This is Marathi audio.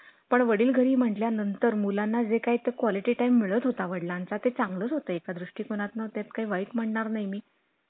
पण वडील घरी म्हटल्या नंतर मुलांना जे काय ते quality time मिळत होता वडिलांना ते चांगलाच होते एका द्रीष्टी ती मनात नाही ते वाईट म्हणणार नाही मी